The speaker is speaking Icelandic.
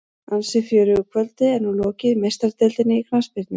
Ansi fjörugu kvöldi er nú lokið í Meistaradeildinni í knattspyrnu.